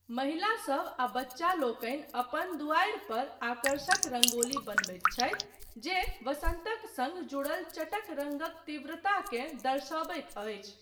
महिलासब आ बच्चा लोकनि अपन दुआरि पर आकर्षक रंगोली बनबैत छथि जे वसन्तक सङ्ग जुड़ल चटक रङ्गक तीव्रताकेँ दर्शयबैत अछि।